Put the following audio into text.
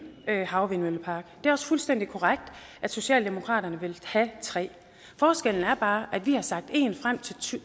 havvindmøllepark det er også fuldstændig korrekt at socialdemokratiet vil have tre forskellen er bare at vi har sagt en frem til to